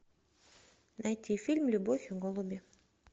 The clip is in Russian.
найти фильм любовь и голуби